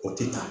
O tɛ taa